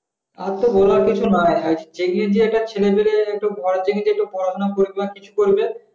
আর তো বলার কিছু নাই এই জি একটা ছেলে যদি একটা ঘর গিয়ে যে পড়াশোনা করবে বা কিছু করবে